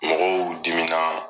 Mɔgɔw dimina